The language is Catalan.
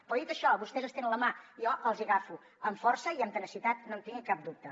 però dit això vostès estenen la mà jo els hi agafo amb força i amb tenacitat no en tinguin cap dubte